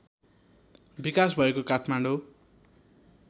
विकास भएको काठमाडौँ